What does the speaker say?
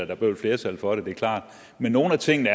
der blev et flertal for det det er klart og nogle af tingene